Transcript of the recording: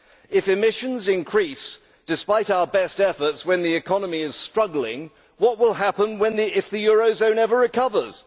If emissions increase despite our best efforts when the economy is struggling, what will happen if the Eurozone ever recovers?